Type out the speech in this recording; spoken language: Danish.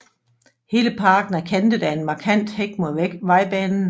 Hele parken er kantet af en markant hæk mod vejbanen